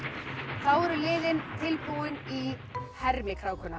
þá eru liðin tilbúin í